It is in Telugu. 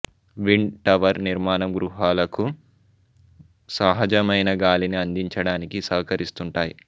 విండ్ టవర్ నిర్మాణం గృహాలకు సహజమైన గాలిని అందించడానికి సహకరిస్తుంటాయి